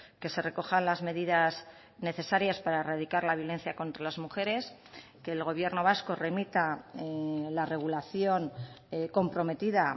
que se recojan las medidas necesarias para erradicar la violencia contra las mujeres que el gobierno vasco remita la regulación comprometida